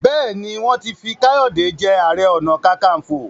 béèni wọn tí fí Kayode je aré ọnà kankanfo.